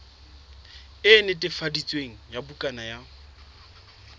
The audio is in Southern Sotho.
e netefaditsweng ya bukana ya